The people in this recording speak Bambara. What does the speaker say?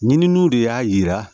Ɲininiw de y'a jira